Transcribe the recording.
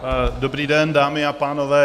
Dobrý den, dámy a pánové.